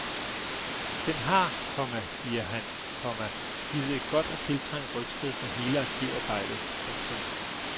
Den har, komma siger han, komma givet et godt og tiltrængt rygstød for hele arkivarbejdet. punktum